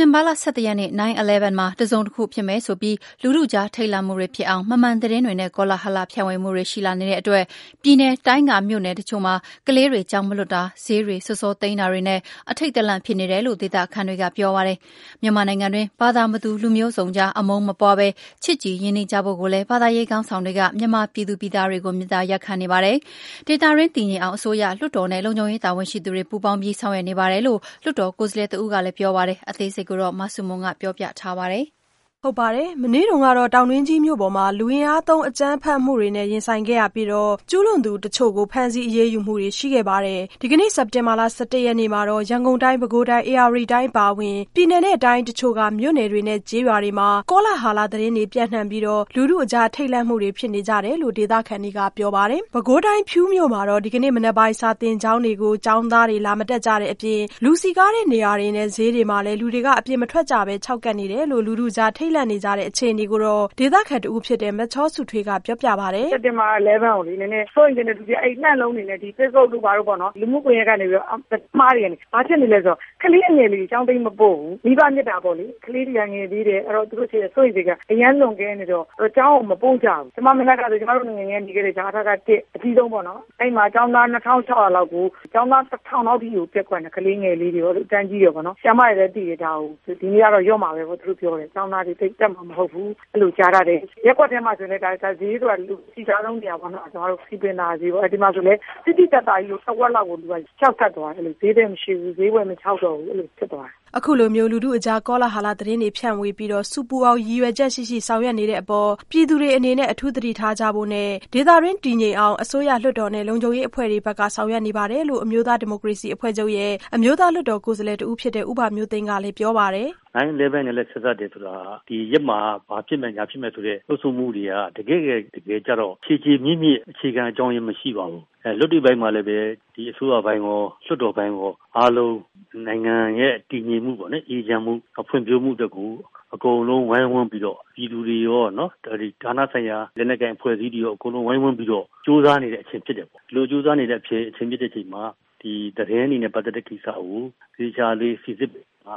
တင်ဘာ၁၁ ရက်နေ့ 9/11 မှာ တစုံတခုဖြစ်မယ်ဆိုပြီးလူထုကြား ထိတ်လန့်မှုတွေဖြစ်အောင် မမှန်သတင်းတွေနဲ့ ကောလဟာလ ဖြန့်ဝေမှုတွေ ရှိလာနေတဲ့ အတွက် ပြည်နယ်၊ တိုင်း က မြို့နယ်တချို့မှာ ကလေးတွေ ကျောင်းမလွှတ်တာ၊ ဈေးတွေ စောစောသိမ်းတာတွေနဲ့ အထိတ်တလန့်ဖြစ်နေတယ်လို့ ဒေသခံတွေကပြောပါတယ်။ မြန်မာနိုင်ငံတွင်း ဘာသာမတူ၊ လူမျိုးစုံကြား အမုန်းမပွားပဲ ချစ်ကြည် ရင်းနှီးကြဖို့ကိုလည်း ဘာသာရေးခေါင်းဆောင်တွေက မြန်မာပြည်သူတွေကို မေတ္တာရပ်ခံနေပါတယ်။ ဒေသတွင်းတည်ငြိမ်အောင် အစိုးရ၊လွှတ်တော်နဲ့ လုံခြုံရေးတာဝန်ရှိသူတွေ ပူးပေါင်းပြီး ဆောင်ရွက်နေပါတယ်လို့ လွှတ်တော်ကိုယ်စားလှယ်တဦးက ပြောပါတယ်။ အသေးစိတ် မဆုမွန် ဆက်ပြောပြပါမယ်။ မနေ့က တောင်တွင်းကြီးမြို့ပေါ်မှာ လူအင်အားသုံးအကြမ်းဖက်မှုတွေနဲ့ ရင်ဆိုင်ခဲ့ရပြီး ကျူးလွန်သူတချို့ကို ဖမ်းဆီးအရေးယူမှုတွေ ရှိခဲ့ပါတယ်။ ဒီကနေ့ စက်တင်ဘာ၁၁ရက်နေ့ မှာတော့ ရန်ကုန်တိုင်း၊ ပဲခူးတိုင်း၊ ဧရာဝတီတိုင်းအပါအဝင် ပြည်နယ်၊တိုင်းအချို့က မြို့နယ်တွေနဲ့ကျေးရွာတွေမှာ ကောလဟာလသတင်းတွေပြန့်နှံပြီး လူထုအကြား ထိတ်လန့်မှုတွေဖြစ်နေကြတယ်လို့ ဒေသခံတွေကပြောပါတယ်။ ပဲခူးတိုင်း ဖြူးမြို့မှာတော့ ဒီကနေ့မနက်ပိုင်း စာသင်ကျောင်းတွေကို ကျောင်းသားတွေ ကျောင်းလာမတက်ကြတဲ့အပြင် လူစည်ကားရာနေရာတွေနဲ့ ဈေးတွေမှာလည်း လူတွေ အပြင်မထွက်ကြပဲ ခြောက်ကပ်နေတယ်လို့ လူထုကြား ထိတ်လန့်နေကြတဲ့ အခြေအနေကို ဒေသခံတဦးဖြစ်တဲ့ မချောစုထွေးက ပြောပြပါတယ်။ “စက်တင်ဘာ ၁၁ ကို လူတွေက စိုးရိမ်စိတ်တွေနဲ့ ဒီ Facebook တို့ဘာတို့ပေါ့နော် ဒီလူမှုကွန်ယက်တွေကနေပြီးတော့ သတင်းအမှားတွေလုပ်နေတယ်။ ဘာဖြစ်လို့လဲဆိုတော့ ကလေးအငယ်လေးတွေကို ကျောင်းပေးမပို့ဘူး၊ မိဘမေတ္တာပေါ့လေ ကလေးတွေက ငယ်သေးတယ် သူတို့တွေရဲ့ စိုးရိမ်စိတ် ကအရမ်းလွန်ကဲနေတော့ ကျောင်းကိုမပို့ဘူး။ ကျမတို့ ငယ်ငယ်တုန်းကနေခဲ့တဲ့ အ.ထ.က အကြီးဆုံးပေါ့နော် အဲဒီမှာကျောင်းသား ၂၆၀၀ လောက်ကို ကျောင်းသားက ၁၀၀၀ လောက်အထိကို ပျက်ကွက်နေကြတာ။ ကလေးငယ်လေးတွေရော၊ အတန်းအကြီးတွေရောပေါ့လေ ဆရာမတွေလည်းသိတယ် ဒါကို ဒီနေ့ကတော့ လျော့မှာလို့ပြောတယ်၊ ကျောင်းသားတွေ တက်မှာမဟုတ်ဘူး အဲလိုကြားတယ်။ ရပ်ကွက်ထဲမှာဆိုရင်လည်း ဈေးဆိုတာ အစည်ကားဆုံး စည်ပင်သာယာဈေးပေါ့နော် ဒီမှာဆိုရင်လည်း သိသိသာသာကြီး လူတဝက်လောက်ကို ခြောက်ကပ်သွားတယ်။ ဈေးသည်မရှိဘူး ဈေးဝယ်ခြောက်တယ် အဲလိုဖြစ်သွားတယ်။” အခုလို လူထုအကြား ကောလဟာလသတင်းတွေဖြန့်ဝေပြီး ဆူပူအောင် ရည်ရွယ်ချက်ရှိရှိဆောင်ရွက်နေတဲ့အပေါ် ပြည်သူတွေအနေနဲ့ အထူးသတိထားကြဖို့နဲ့ ဒေသတွင်းတည်ငြိမ်အောင် အစိုးရ၊ လွှတ်တော်နဲ့ လုံခြုံရေးအဖွဲ့တွေဘက်ကဆောင်ရွက်နေပါတယ်လို့ အမျိုးသားဒီမိုကရေစီအဖွဲ့ချုပ်ရဲ့ အမျိုးသားလွှတ်တော်ကိုယ်စားလှယ်ဦးဘမျိုးသိန်းကလည်း ပြောပါတယ်။ “9/11 နဲ့ ဆက်စပ်တယ်ဆိုတာက ဒီရက်မှာ ဘာဖြစ်မယ် ညာဖြစ်မယ်ဆိုတဲ့ လှုံ့ဆော်မှုတွေက တကယ့်တကယ်ကျတော့ ခြေခြေမြစ်မြစ် အခြေခံအကြောင်းတရားမရှိပါဘူး။ လက်တွေ့ပိုင်းမှာလည်း ဒီအစိုးရအပိုင်းရော လွှတ်တော်အပိုင်းရော အားလုံးနိုင်ငံရဲ့ တည်ငြိမ်အေးချမ်း ဖွံ့ဖြိုးမှုအတွက်ကို အကုန်လုံးဝိုင်းဝန်းပြီးတော့ ဌာနဆိုင်ရာ လက်နက်ကိုင်အဖွဲ့အစည်းတွေရော အကုန်လုံးဝိုင်းဝန်းပြီးတော့ ကြိုးစားနေတဲ့အချိန်ဖြစ်တယ်။ ဒီလိုကြိုးစားနေတဲ့အချိန်မှာ ဒီသတင်းတွေနဲ့ ပတ်သက်တဲ့ကိစ္စကို သေချာလေးစိစစ်ပါ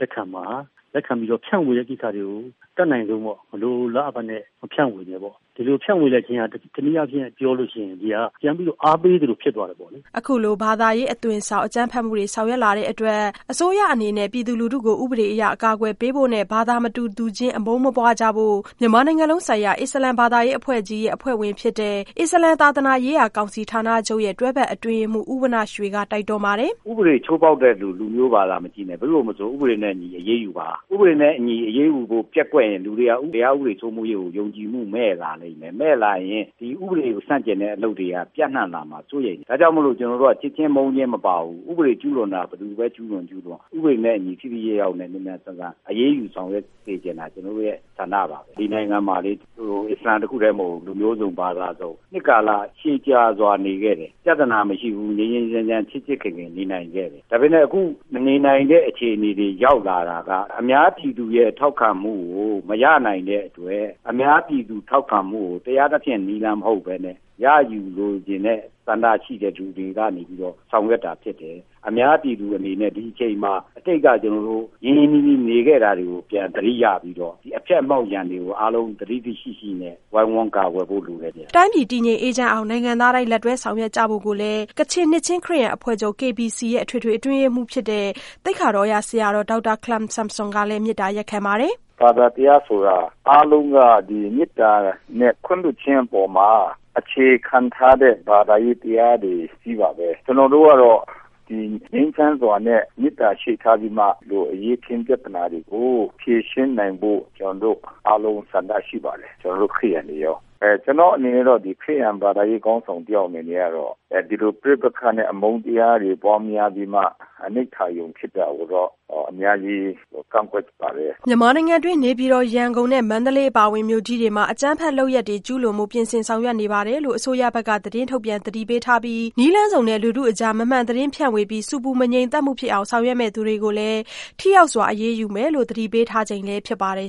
လက်ခံပါ။ လက်ခံပြီးတော့ ဖြန့်ဝေတဲ့ကိစ္စတွေကို အတတ်နိုင်ဆုံးပေါ့ မလိုလားအပ်ပဲနဲ့ မဖြန့်ဝေနဲ့ပေါ့ ဒီလိုဖြန့်ဝေလိုက်ခြင်းအားဖြင့် တနည်းအားဖြင့်ပြောလို့ရှိရင် ပြန်ပြီးအားပေးသလိုဖြစ်သွားတယ်ပေါ့လေ။” အခုလို ဘာသာရေးအသွင်ဆောင် အကြမ်းဖက်မှုတွေ ဆောင်ရွက်လာတဲ့အတွက် အစိုးရအနေနဲ့ ပြည်သူလူထုကို ဥပဒေအရ ကာကွယ်ပေးဖို့နဲ့ ဘာသာမတူသူချင်း အမုန်းမပွားကြဖို့ မြန်မာနိုင်ငံလုံးဆိုင်ရာ အစ္စလာမ်ဘာသာရေးအဖွဲ့ကြီးရဲ့ အဖွဲ့ဝင်ဖြစ်တဲ့ အစ္စလာမ်သာသနာရေးရာ ကောင်စီဌာနချုပ်ရဲ့ တွဲဖက်အတွင်းရေးမှူး ဦးဝဏ္ဏရွှေက တိုက်တွန်းပါတယ်။ “ဥပဒေချိုးဖောက်တဲ့လူကို လူမျိုးဘာသာမကြည့်နဲ့ ဘယ်သူ့ကိုမဆို ဥပဒေနဲ့အညီအရေးယူပါ။ ဥပဒေနဲ့အညီအရေးယူဖို့ပျက်ကွက်ရင်လူတွေက တရားဥပဒေစိုးမိုးရေးကို ယုံကြည်မှုမဲ့လာမယ်။ မဲ့လာရင် ဒီ ဥပဒေကို ဆန့်ကျင်တဲ့ အလုပ်တွေက ပြန့်နှံ့လာမှာ စိုးရိမ်တယ် ဒါကြောင့်မို့လို့ ကျနော်တို့က ချစ်ခြင်းမုန်းခြင်းမပါဘူး။ ဘယ်သူပဲ ကျူးလွန်ကျူးလွန် ဥပဒေနဲ့အညီ ထိထိရောက်ရောက်မြန်မြန်ဆန်ဆန် အရေးယူဆောင်ရွက်ပေးစေချင်တာ ကျနော်တို့ ဆန္ဒပါ။ ဒီနိုင်ငံမှာ အစ္စလာမ်တခုတည်းမဟုတ်ဘူး လူမျိုးစုံ၊ ဘာသာစုံ နှစ်ကာလရှည်ကြာစွာနေခဲ့တယ်။ ပြဿနာမရှိဘူး ငြိမ်းငြိမ်းချမ်းချမ်းချစ်ချစ်ခင်ခင်နေခဲ့တယ်။ ဒါပေမယ့် အခုမနေနိုင်တဲ့အခြေအနေ ရောက်လာတာက အများပြည်သူရဲ့ ထောက်ခံမှုကို မရနိုင်တဲ့အတွက် အများပြည်သူထောက်ခံမှုကို တရားသဖြင့် နည်းလမ်းမဟုတ်ပဲနဲ့ ရယူလိုချင်တဲ့ ဆန္ဒရှိတဲ့လူတွေကနေပြီးတော့ ဆောင်ရွက်တာဖြစ်တယ်။ အများပြည်သူအနေနဲ့ ဒီအချိန်မှာ အတိတ်ကကျနော်တို့ ရင်းရင်းနှီးနှီးနေခဲ့တာတွေကို ပြန်သတိရပြီးတော့ ဒီအဖျက်အမှောင့်ရန်တွေကို သတိရှိရှိနဲ့ ဝိုင်းဝန်းကာကွယ်ဖို့လိုပါတယ်။” တိုင်းပြည်တည်ငြိမ်အေးချမ်းအောင် နိုင်ငံသားတိုင်း လက်တွဲဆောင်ရွက်ကြဖို့ကို ကချင်နှစ်ခြင်းခရစ်ယာန်အဖွဲ့ချုပ် KBC ရဲ့ အထွေထွေအတွင်းရေးမှူး သိက္ခာတော်ဆရာတော်ဒေါက်တာခလမ်ဆွမ်ဆမ်ကလည်း မေတ္တာရပ်ခံပါတယ်။ “ဘာသာတရားဆိုတာ အားလုံးက မေတ္တာနဲ့ ခွင့်လွှတ်ခြင်း အပေါ်မှာ အခြေခံထားတဲ့ ဘာသာရေးတရားတွေကြီးပါပဲ။ ကျနော်တို့ကတော့ ငြိမ်းချမ်းစွာနဲ့ မေတ္တာရှေ့ထားပြီးတော့ ဒီလိုအရေးအခင်းပြဿနာတွေကို ဖြေရှင်းနိုင်ဖို့ ကျနော်တို့အားလုံး ဆန္ဒရှိပါတယ် ကျနော်တို့ ခရစ်ယာန်တွေရော။ ကျနေ်ာ့အနေနဲ့ကတော့ ခရစ်ယာန်ဘာသာရေးခေါင်းဆောင်တယောက်အနေနဲ့ ဒီလိုပဋိပက္ခနဲ့ အမုန်းတရားတွေ ပွားများပြီးတော့မှ အနိဋ္ဌာရုံ ဖြစ်တာကိုတော့ ကျနော့်အနေနဲ့ အများကြီး ကန့်ကွက်ပါတယ်။” မြန်မာနိုင်ငံတွင်း နေပြည်တော်၊ ရန်ကုန်နဲ့ မန္တလေးအပါအဝင် မြို့ကြီးတွေမှာ အကြမ်းဖက်လုပ်ရပ်တွေ ကျူးလွန်ဖို့ ပြင်ဆင်ဆောင်ရွက်နေတယ်လို့ အစိုးရဘက်က သတင်းထုတ်ပြန်သတိပေးထားပြီး နည်းလမ်းစုံနဲ့ လူထုအကြား မမှန်သတင်းဖြန့်ဝေပြီး ဆူပူမငြိမ်သက်မှုဖြစ်အောင် ဆောင်ရွက်မယ့်သူတွေကိုလည်း ထိရောက်စွာအရေးယူမယ်လို့ သတိပေးထားချိန်လည်းဖြစ်ပါတယ်